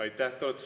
Aitäh!